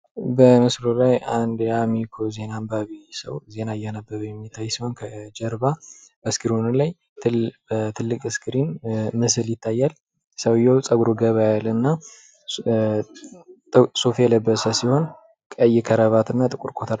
በምስሉ ላይ አንድ የአሚኮ ዜና አንባቢ ሰው ዜና እያነበበ የሚታይ ሲሆን ከጀርባ ላይ በትልቅ ስክሪን ምስል ይታያል። ሰውዬው ጸጉሩ ገባ ያለ እና ሱፍ የለበሰ ሲሆን ቀይ ካራባት እና ጥቁር ኮት አድርጓል።